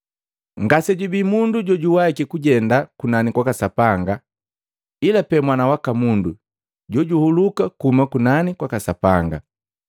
Ngasejubii mundu jojuwahiki kujenda kunani kwaka Sapanga, ila pee Mwana waka Mundu jojahuluka kuhuma kunani kwaka Sapanga.”